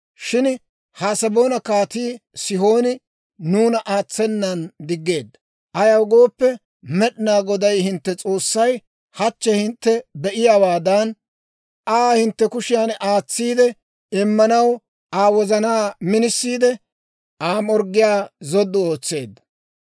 «Shin Haseboona Kaatii Sihooni nuuna aatsenan diggeedda. Ayaw gooppe, Med'inaa Goday hintte S'oossay hachchi hintte be"iyaawaadan, Aa hintte kushiyan aatsiide immanaw Aa wozanaa minisiide, Aa morggiyaa zoddu ootseedda.